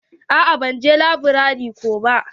A'a ban je laburare ko ba.